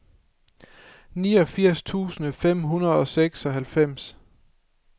niogfirs tusind fem hundrede og seksoghalvfems